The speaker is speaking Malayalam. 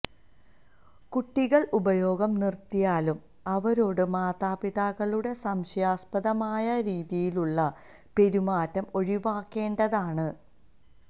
കുട്ടികള് ഉപയോഗം നിര്ത്തിയാലും അവരോട് മാതാപിതാക്കളുടെ സംശയാസ്പദമായി രീതിയിലുള്ള പെരുമാറ്റം ഒഴിവാക്കേണ്ടതാണ്